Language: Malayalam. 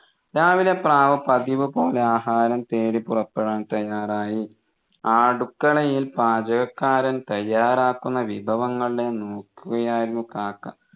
രാവിലെ പ്രാവ് പതിവുപോലെ ആഹാരം തേടി പുറപ്പെടാൻ തയ്യാറായി ആ അടുക്കളയിൽ പാചകക്കാരൻ തയ്യാറാക്കുന്ന വിഭവങ്ങളെ നോക്കുകയായിരുന്നു കാക്ക